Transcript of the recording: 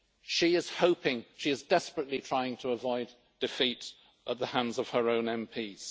She is desperately trying to avoid defeat at the hands of her own MPs.